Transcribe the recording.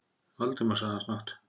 Valdimar- sagði hann snöggt.